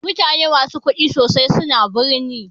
Mutane musu kuɗi sosai suna birni.